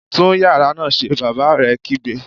Tún yàrá náà ṣe! Bàbá rẹ̀ kígbe